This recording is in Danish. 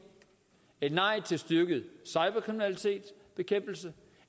et nej til styrket bekæmpelse